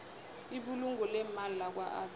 ibulungo leemali lakwaabsa